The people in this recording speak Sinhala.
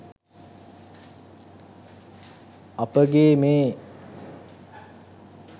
අපගේ මේ